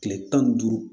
Kile tan ni duuru